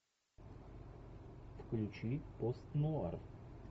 включи пост нуар